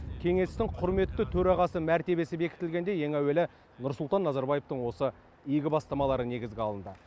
кеңестің құрметті төрағасы мәртебесі бекітілгенде ең әуелі нұрсұлтан назарбаевтың осы игі бастамалары негізге алынды